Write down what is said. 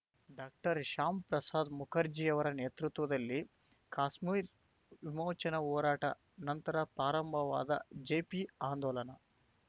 doctor Shyam Prasad ಮುಖರ್ಜಿಯವರ ನೇತೃತ್ವದಲ್ಲಿ ಕಾಶ್ಮೀರ ವಿಮೋಚನಾ ಹೋರಾಟ ನಂತರ ಪ್ರಾರಂಭವಾದ ಜೆಪಿ ಆಂದೋಲನ